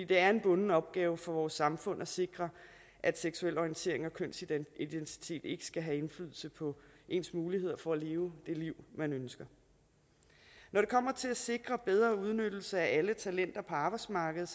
det er en bunden opgave for vores samfund at sikre at seksuel orientering og kønsidentitet ikke skal have indflydelse på ens muligheder for at leve det liv man ønsker når det kommer til at sikre bedre udnyttelse af alle talenter på arbejdsmarkedet